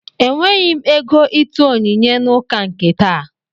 Ejighị m ego ịtụ onyinye n'ụka nke taa